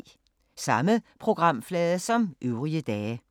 Samme programflade som øvrige dage